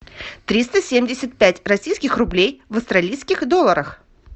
триста семьдесят пять российских рублей в австралийских долларах